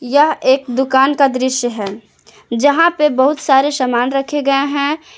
यह एक दुकान का दृश्य है जहां पे बहुत सारे सामान रखे गए है।